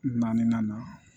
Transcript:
Naaninan na